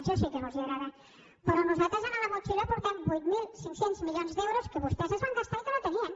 ja sé que no els agrada però nosaltres a la motxilla portem vuit mil cinc cents milions d’euros que vostès es van gastar i que no tenien